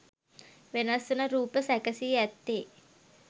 වෙනස්වන රූප සැකසී ඇත්තේ